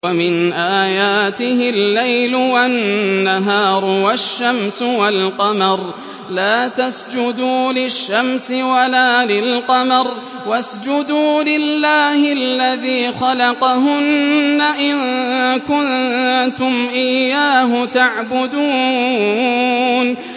وَمِنْ آيَاتِهِ اللَّيْلُ وَالنَّهَارُ وَالشَّمْسُ وَالْقَمَرُ ۚ لَا تَسْجُدُوا لِلشَّمْسِ وَلَا لِلْقَمَرِ وَاسْجُدُوا لِلَّهِ الَّذِي خَلَقَهُنَّ إِن كُنتُمْ إِيَّاهُ تَعْبُدُونَ